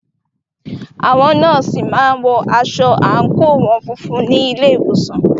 Àwọn nọ́ọ̀sì má ń wọ aṣọ àńkò wọn funfun ní ilé ìwòsàn